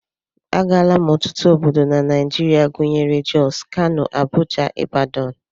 Agaala m ọtụtụ obodo na Naijiria gụnyere Jos, Kano, Abuja, Ibadan